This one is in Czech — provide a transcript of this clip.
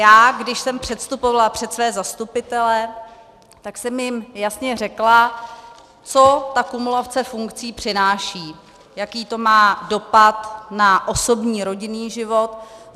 Já když jsem předstupovala před své zastupitele, tak jsem jim jasně řekla, co ta kumulace funkcí přináší, jaký to má dopad na osobní, rodinný život.